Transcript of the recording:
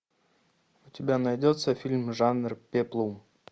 у тебя найдется фильм жанр пеплум